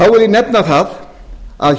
nefna það að